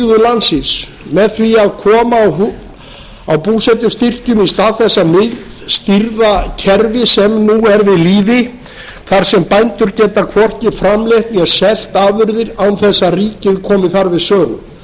landsins með því að koma á búsetustyrkjum í stað þessa miðstýrða kerfis sem nú er við lýði þar sem bændur geta hvorki framleitt né selt afurðir án þess að ríkið komi þar við sögu